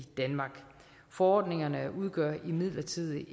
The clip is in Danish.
danmark forordningerne udgør imidlertid